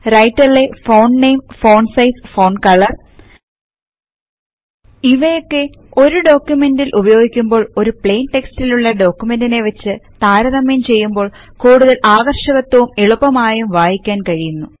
രൈടര്ലെ font name font size font colour ഇവയൊക്കെ ഒരു ഡോകുമേന്റിൽ ഉപയോഗിക്കുമ്പോൾ ഒരു പ്ലൈൻ ടെക്സ്ട്ൽ ഉള്ള ഡാക്യുമെംട് നേ വെച്ച് താരതമ്യം ചെയ്യുമ്പോൾ കൂടുതൽ ആകർഷകത്വവും എളുപ്പമായും വായിക്കാൻ കഴിയുന്നു